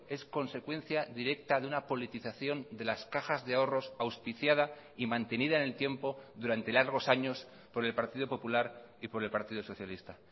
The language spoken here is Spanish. es consecuencia directa de una politización de las cajas de ahorros auspiciada y mantenida en el tiempo durante largos años por el partido popular y por el partido socialista